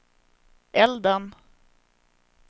elden